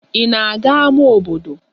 Ị na-aga ámá obodo?